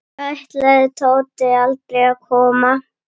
Ætlaði Tóti aldrei að koma?